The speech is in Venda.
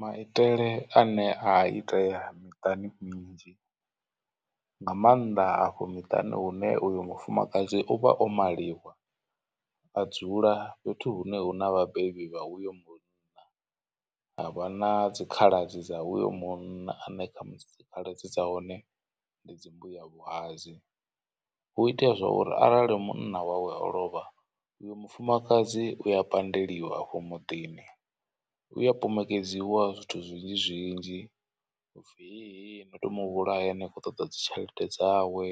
Maitele ane a itea miṱani minzhi nga maanḓa afho miṱani hune uyo mufumakadzi u vha o maliwa a dzula fhethu hune hu na vhabebi vha uyo munna. Havha na dzikhaladzi dza uyo munna ane kha dzikhaladzi dza hone ndi dzi mbuyavhuhadzi hu itea zwa uri arali munna wawe o lovha uyo mufumakadzi u ya pandeliwa afho muḓini. U ya pomokedziwa zwithu zwinzhi zwinzhi hupfi he he no to muvhulaya ni kho ṱoḓa dzi tshelede dzawe.